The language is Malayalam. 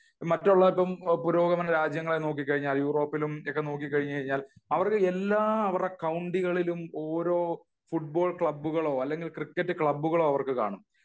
മറ്റുള്ള പുരോഗമന രാജ്യങ്ങളിൽ നോക്കി കഴിഞ്ഞാൽ യൂറോപ്പിലും ഒക്കെ നോക്കി കഴിഞ്ഞാൽ അവർക്ക് എല്ലാ അവരുടെ കൗണ്ടികളിലും ഓരോ ഫുട്ബോൾ ക്ലബ്ബുകളോ അല്ലെങ്കിൽ ക്രിക്കറ്റ് ക്ലബ്ബ്കളോ അവർക്ക് കാണും